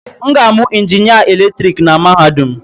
M ga-amụ injinịa eletrik na mahadum.